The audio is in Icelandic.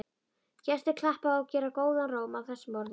Gestir klappa og gera góðan róm að þessum orðum.